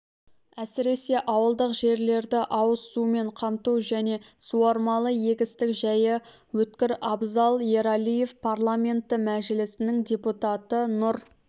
әсіресе ауылдық жерлерді ауызсумен қамту және суармалы егістік жайы өткір абзал ералиев парламенті мәжілісінің депутаты нұр